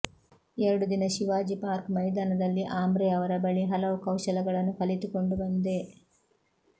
ಎರಡು ದಿನ ಶಿವಾಜಿ ಪಾರ್ಕ್ ಮೈದಾನದಲ್ಲಿ ಆಮ್ರೆ ಅವರ ಬಳಿ ಹಲವು ಕೌಶಲಗಳನ್ನು ಕಲಿತುಕೊಂಡು ಬಂದೆ